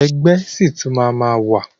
Ẹgbẹ́ ṣì tún máa ma wà.